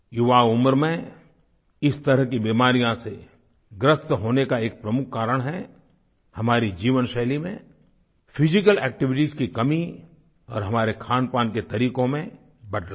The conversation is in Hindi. युवा उम्र में इस तरह की बीमारियों से ग्रस्त होने का एक प्रमुख कारण है हमारी जीवनशैली में फिजिकल एक्टिविटीज की कमी और हमारे खानपान के तरीक़ों में बदलाव